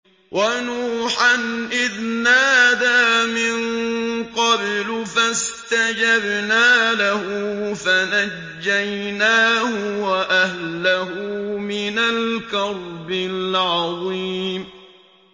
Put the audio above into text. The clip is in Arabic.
وَنُوحًا إِذْ نَادَىٰ مِن قَبْلُ فَاسْتَجَبْنَا لَهُ فَنَجَّيْنَاهُ وَأَهْلَهُ مِنَ الْكَرْبِ الْعَظِيمِ